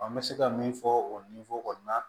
n bɛ se ka min fɔ o ninforo kɔni na